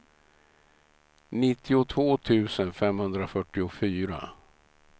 nittiotvå tusen femhundrafyrtiofyra